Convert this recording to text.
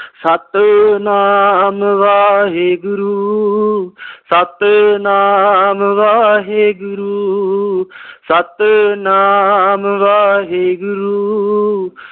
Satnam Waheguru, Satnam Waheguru, Satnam Waheguru,